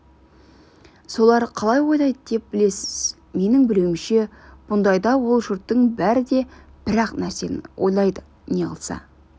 солар қалай ойлайды деп білесіз менің білуімше бұндайда ол жұрттың бәрі де бір-ақ нәрсені ойлайды неғылса